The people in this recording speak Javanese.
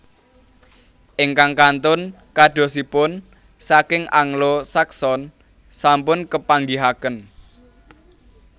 Ingkang kantun kadosipun saking Anglo Saxon sampun kapanggihaken